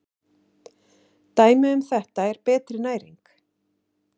Dæmi um þetta er betri næring.